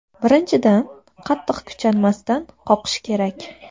Birinchidan, qattiq kuchanmasdan qoqish kerak.